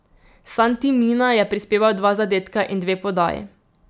Santi Mina je prispeval dva zadetka in dve podaji.